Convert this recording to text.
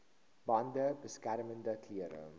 bande beskermende klere